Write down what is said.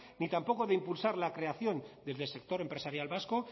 ni tampoco de impulsar la creación desde el sector empresarial vasco